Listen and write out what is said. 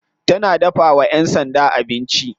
Tana dafawa yan sanda abinci.